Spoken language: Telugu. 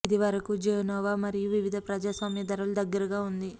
ఇది వరకు జెనోవ మరియు వివిధ ప్రజాస్వామ్య ధరలు దగ్గరగా ఉంది